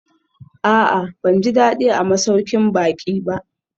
A'a, ban ji daɗi a masaukin baƙi ba